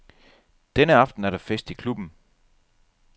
Denne aften er der fest i klubben.